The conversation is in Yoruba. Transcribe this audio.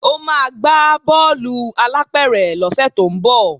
Ó máa gbá bọ́ọ̀lù alápẹ̀rẹ̀ lọ́sẹ̀ tó ń bọ̀